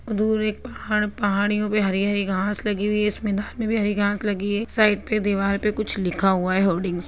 दूर एक पहाड़ पहाड़ियों पे हरी-हरी घास लगी हुई है इस मैदान में भी हरी घास लगी है एक साइड पे दीवाल पे कुछ लिखा हुआ है होल्डिंग्स से।